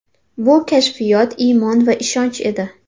Bu kashfiyot –iymon va ishonch edi.